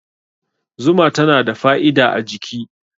Zuma tana da fa'ida a jiki